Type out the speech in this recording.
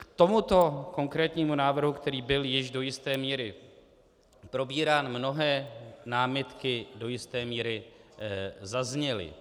K tomuto konkrétnímu návrhu, který byl již do jisté míry probírán, mnohé námitky do jisté míry zazněly.